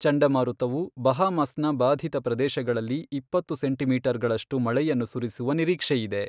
ಚಂಡಮಾರುತವು ಬಹಾಮಸ್ನ ಬಾಧಿತ ಪ್ರದೇಶಗಳಲ್ಲಿ ಇಪ್ಪತ್ತು ಸೆಂಟಿಮೀಟರ್ಗಳಷ್ಟು ಮಳೆಯನ್ನು ಸುರಿಸುವ ನಿರೀಕ್ಷೆಯಿದೆ.